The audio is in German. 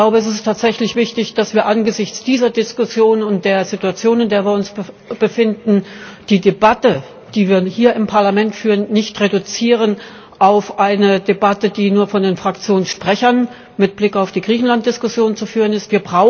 Es ist tatsächlich wichtig, dass wir angesichts dieser Diskussion und der Situation, in der wir uns befinden, die Debatte, die wir hier im Parlament führen, nicht auf eine Debatte reduzieren, die nur von den Fraktionssprechern mit Blick auf die Griechenlanddiskussion zu führen ist.